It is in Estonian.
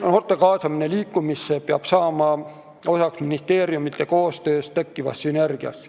Noorte kaasamisest liikumisse peab saama ministeeriumite koostöös tekkiva sünergia osa.